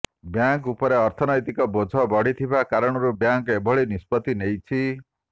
bank ଉପରେ ଅର୍ଥନୈତୀକ ବୋଝ ବଢିଥିବା କାରଣରୁ ବ୍ୟାଙ୍କ୍ ଏଭଳି ନିଷ୍ପତ୍ତି ନେଇଛି